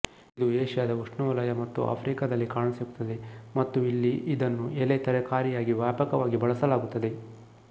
ಇದು ಏಷ್ಯಾದ ಉಷ್ಣವಲಯ ಮತ್ತು ಆಫ್ರಿಕಾದಲ್ಲಿ ಕಾಣಸಿಗುತ್ತದೆ ಮತ್ತು ಇಲ್ಲಿ ಇದನ್ನು ಎಲೆ ತರಕಾರಿಯಾಗಿ ವ್ಯಾಪಕವಾಗಿ ಬಳಸಲಾಗುತ್ತದೆ